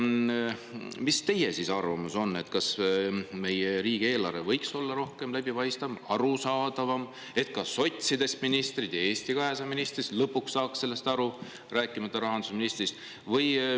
Mis teie arvamus on, kas meie riigieelarve võiks olla rohkem läbipaistev, arusaadav, et ka sotsidest ministrid ja Eesti 200 ministrid lõpuks saaks sellest aru, rääkimata rahandusministrist?